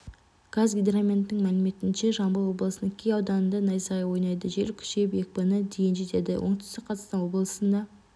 қазгидрометтің мәліметінше жамбыл облысының кей ауданында найзағай ойнайды жел күшейіп екпіні дейін жетеді оңтүстік қазақстан облысында